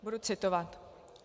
Budu citovat: